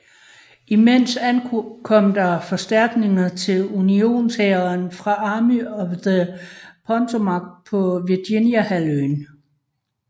Imens ankom der forstærkninger til unionshæren fra Army of the Potomac på Virginia halvøen